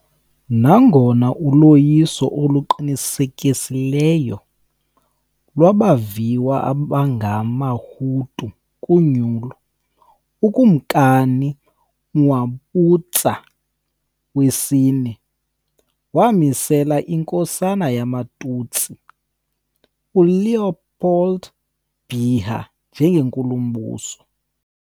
Nangona uloyiso oluqinisekileyo lwabaviwa abangamaHutu kunyulo, uKumkani Mwambutsa IV wamisela inkosana yamaTutsi, uLéopold Biha, njengeNkulumbuso.